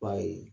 Ba ye